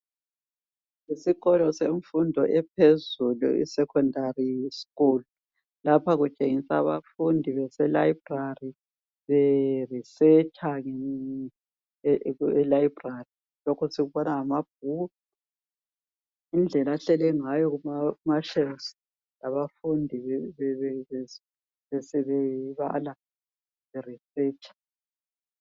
Isikolo semfundo ephezulu isekhondari skulu lapha kutshengiswa abafundi beselayibhrari, beresearcher elayibhrari lokhu sikubona ngamabhuku, indlela ahleli ngayo umbalisi labafundi bebala bayaresearcher